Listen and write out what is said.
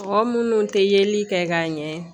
Mɔgɔ minnu tɛ yeli kɛ ka ɲɛ